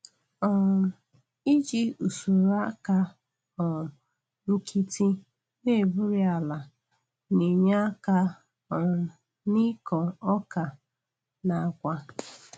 um Iji usoro aka um nkịtị na-egburi ala na-enye aka um n'ịkọ ọka na agwa.